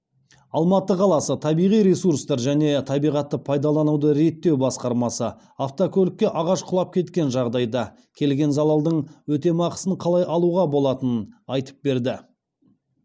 алматы қаласы табиғи ресурстар және табиғатты пайдалануды реттеу басқармасы автокөлікке ағаш құлап кеткен жағдайда келген залалдың өтемақысын қалай алуға болатынын айтып берді